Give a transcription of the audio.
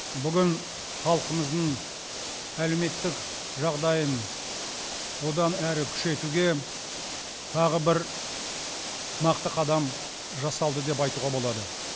бүгін халқымыздың әлеуметтік жағдайын одан әрі күшейтуге тағы бір нақты қадам жасалды деп айтуға болады